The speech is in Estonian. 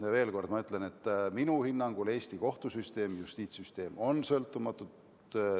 Ma veel kord ütlen, et minu hinnangul on Eesti kohtusüsteem, justiitssüsteem sõltumatud.